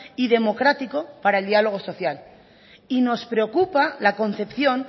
y democrático para el diálogo social y nos preocupa la concepción